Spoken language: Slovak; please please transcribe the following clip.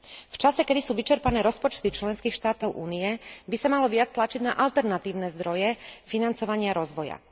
V čase, keď sú vyčerpané rozpočty členských štátov Únie, by sa malo viac tlačiť na alternatívne zdroje financovania rozvoja.